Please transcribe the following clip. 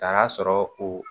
Nan'a sɔrɔ o